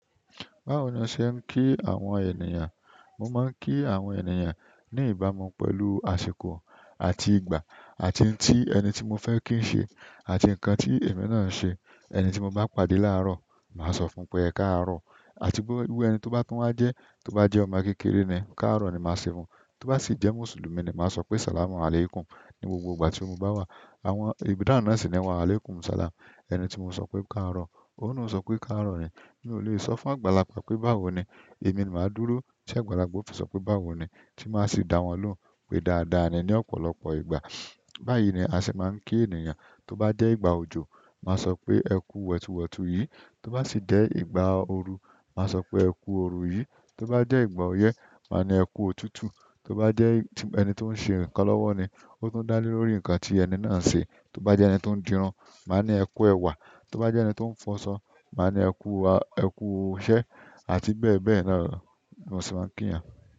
Báwo ni a ṣe ń kí àwọn ènìyàn? Mo máa ń kí àwọn ènìyàn ní ìbámu pẹ̀lú àsìkò àti ìgbà, àti tí ẹni tí mo fẹ́ kí ń ṣe, àti nǹkan tí èmi náà ṣe. Ẹni tí mo bá pàdé láàárọ̀, màá sọ fún un pé, "ẹ káàárọ̀", àti bó ẹni tó bá tún wá dẹ̀, tó bá jẹ́ ọmọ kékeré ni, "káàárọ̀" ni màá sọ fún un. Tó bá sì jẹ́ Mùsùlùmí ni, màá sọ pé, "assalamualaikum" ní gbogbo ìgbà tí mo bá wà. Àwọn ìbídà náà sì ni wà, "waalaikumussalam". Ẹni tí mo sọ pé, "ẹ káàárọ̀", ó sì ń sọ pé, "ẹ káàárọ̀" ni. Mi ò le sọ fún àgbàlagbà pé, "báwo ni?" Èmi ni màá dúró, ṣé àgbàlagbà ó fi sọ pé, "báwo ni?", tí màá sì dá wọn lóhùn pé, "dáadáa ni" ní ọ̀pọ̀lọpọ̀ ìgbà. Bayi ni a se maa n ki ènìyàn toba je ìgbà ojo, maa sope eku wetuuwetuu yìí. Tó bá sì jẹ́ ìgbà ooru, màá sọ pé, "ẹ kú ooru yí". Tó bá jẹ́ ìgbà ọyẹ́, màá ní, "ẹ kú òtútù". Tó bá jẹ́ ẹni tó ń ṣe nǹkan lọ́wọ́ ni, ó tún ń dá lé lórí nǹkan tí ẹni náà ṣe. Tó bá jẹ́ ẹni tó ń dirun, màá ní, "ẹ kú ẹwà". Tó bá jẹ́ ẹni tó ń fọnsọ, màá ní, "ẹ kú iṣẹ́", àti bẹ́ẹ̀ bẹ́ẹ̀ lọ ni wọ́n sì máa ń kí ìyàn.